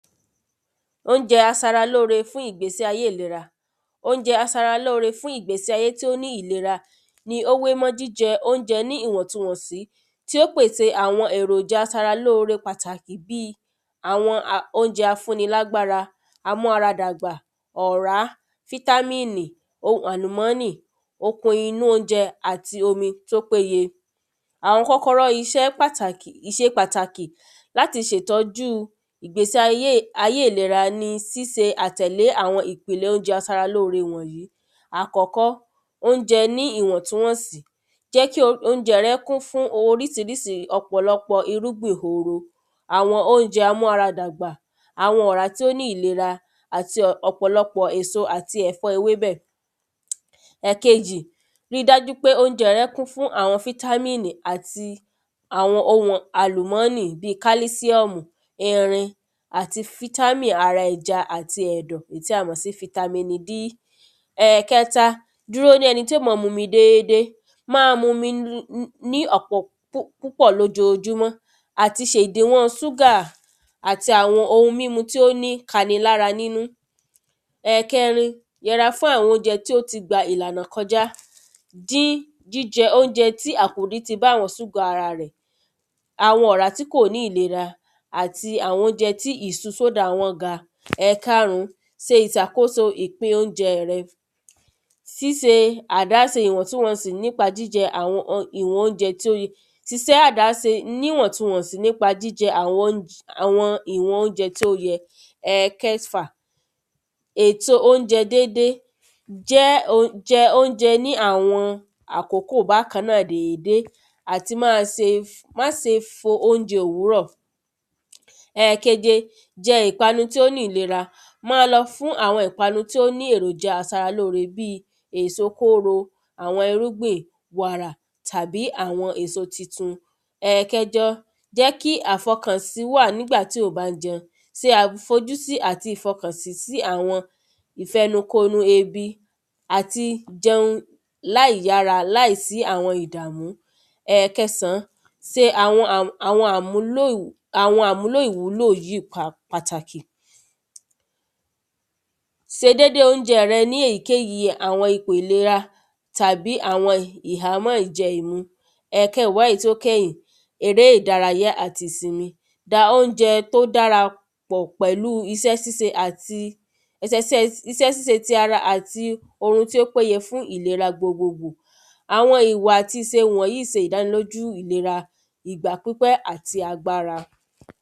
oúnjẹ asara lóore fún ìgbésí ayé ìlera. oúnjẹ asara lóore fún ìgbésí ayé tí ó ní ìlera, ni ó wé mọ́ jíjẹ oúnjẹ ní ìwọ̀ntunwọ̀nsí tí ó pèse àwọn èròjà asara lóore pàtàkì bíi; àwọn a oúnjẹ a fún ni lágbára, a mára dàgbà, ọ̀rá, fítámínì, ohun àlùmọ́nì, okun inú oúnjẹ àti omi tó péye. àwọn kọ́kọ́rọ́ iṣẹ́ pàtàkì ṣe pàtàkì láti ṣe ìtọ́júu ìgbésí ayé ayé ìlera ní síse àtẹ̀lé àwọn ipele oúnjẹ asara lóore wọ̀n yí. ákọ́kọ́ oúnjẹ ní ìwọ̀ntúwọ̀n sì, jẹ́ kí oúnjẹ rẹ kún fún orísirísi ọ̀pọ̀lọpọ̀ irúgbìn oro, àwọn oúnjẹ amú ara dàgbà, àwọn ọ̀rá tí ó ní ìlera, àti ọ̀pọ̀lọpọ̀ èso, àti ẹ̀fọ́ ewébẹ̀. ẹ̀kejì, ri dájú pé oúnjẹ kún fún àwọn fítámínì àti àwọn ohun àlùmọ́nì bíi; kálísíọ́mù, irin, àti fítámínì ara ẹja àti ẹ̀dọ̀ tí a mọ̀ sí fítámínì d ẹ̀kẹta, dùró de ẹni tí ó maa mumi déédé, máa mumi ní ní ọ̀pọ̀ púpọ̀ lójojúmọ́, àti ṣe ìdèwọ̀n súgà àti ohun mímu tí ó ní kanilára nínú. ẹ̀kẹrin, yẹra fún àwọn oúnjẹ tí ó ti gba ìlànà kọjá, dín jíjẹ oúnjẹ tí àkòdì ti bá àwọn súgà ara rẹ̀, àwọn ọ̀rá tí kò ní ìlera àti àwọn oúnjẹ tí ìsu sódà wọ́n ga. ẹ̀karún, se ìsàkóso ìpín oúnjẹ rẹ, sí se àdáse ìwọ̀ntunwọ̀sì nípa jíjẹ àwọn ìwọ̀n oúnjẹ tí o, si sé àdáse níwọ̀ntunwọ̀sì nípa jíjẹ àwọn oúnj àwọn ìwọn oúnjẹ tí ó yẹ. ẹ̀kẹfà, ètò oúnjẹ dédé, jẹ́ oúnj jẹ oúnjẹ ní àwọn àkókò bákan náà dédé àti máa se, má se fo oúnjẹ òwúrò. ẹ̀keje, jẹ ìpanu tí ó ní ìlera, máa lọ fún àwọn ìpanu tí ó ní èròjà asara lóore bíi; èso kóro, àwọn irúgbìn, wàrà, tàbí àwọn èso titun. ẹ̀kẹjọ, jẹ́ kí àfọkànsí wà nígbà tí ò ń bá ń jẹun, se àfojúsí àti ìfọkànsí sí àwọn ìfẹnukonu ebi àti, jẹun láìyára láìsí àwọn ìdàmú. ẹ̀kẹsán, se àwọn à àwọn àmúlò àwọn àmúlò ìwúlò yíì pà pàtàkì, se dédé oúnjẹ rẹ ní èyíkéyí àwọn ipò ìlera tàbí àwọn ìhámọ́ ìjẹ ìmu. ẹ̀kẹwá èyí tí ó kẹ̀yìn, eré ìdárayá àti ìsìnmi, da oúnjẹ tó dára pọ̀ pẹ̀lúu isẹ́ síse àti ẹsẹsẹ́ isẹ́ síse ti ara àti orun tí ó péye fún ìlera gbogbo gbò, àwọn ìwà àti ìse wọ̀n yíì se ìdánilójú ìlera ìgbà gbípẹ́ àti agbára.